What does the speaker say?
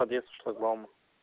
подъезд к шлагбауму